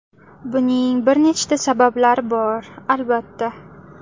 Buning bir nechta sabablari bor, albatta.